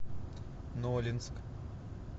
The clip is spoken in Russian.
нолинск